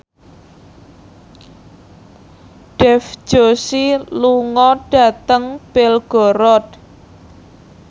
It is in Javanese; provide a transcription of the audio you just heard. Dev Joshi lunga dhateng Belgorod